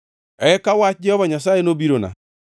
Eka wach Jehova Nyasaye nobirona: